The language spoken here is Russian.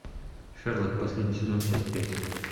шерлок последний сезон часть пять